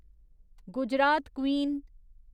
Gujarat queen